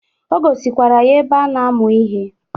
O gosikwara ya ebe a na-amụ ihe.